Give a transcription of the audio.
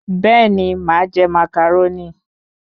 Bẹ́ẹ̀ni, màa je Màcàrónì